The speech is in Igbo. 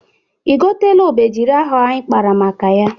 I goteela obejiri ahụ anyị kpara maka ya?